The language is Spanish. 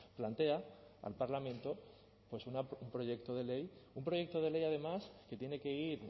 plantea al parlamento pues un proyecto de ley un proyecto de ley además que tiene que ir